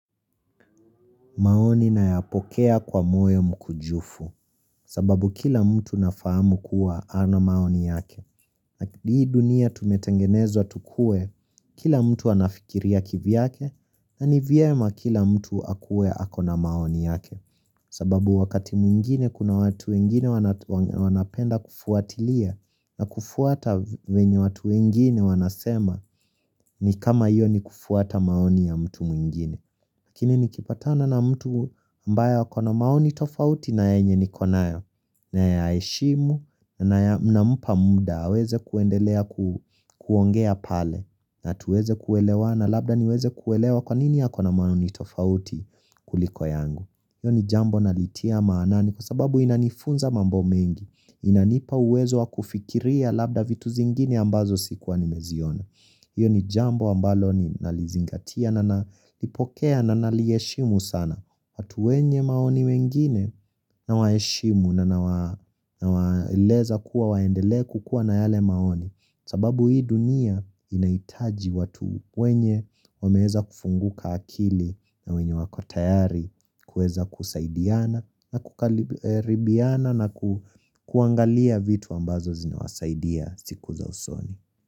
Maoni nayapokea kwa moyo mkujufu sababu kila mtu nafahamu kuwa ana maoni yake. Hii dunia tumetengenezwa tukue kila mtu anafikiria kivyake na ni vyema kila mtu akue ako na maoni yake. Sababu wakati mwingine kuna watu wengine wanapenda kufuatilia na kufuata venye watu wengine wanasema ni kama hiyo ni kufuata maoni ya mtu mwingine. Lakini nikipatana na mtu ambayo ako na maoni tofauti na yenye niko nayo nayaheshimu nampa muda aweze kuendelea kuongea pale na tuweze kuelewana labda niweze kuelewa kwanini ako na maoni tofauti kuliko yangu. Iyo ni jambo nalitia maanani kwa sababu inanifunza mambo mengi, inanipa uwezo wa kufikiria labda vitu zingine ambazo sikuwa nimeziona. Iyo ni jambo ambalo nalizingatia na nalipokea na nalieshimu sana. Watu wenye maoni wengine na waeshimu na nawa nawaeleza kuwa waendelee kukuwa na yale maoni sababu hii dunia inahitaji watu wenye wameeza kufunguka akili na wenye wako tayari kueza kusaidiana na kukaribiana naku kuangalia vitu ambazo zinawasaidia siku za usoni.